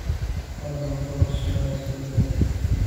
fadlan qor su'aashayda